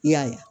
I y'a ye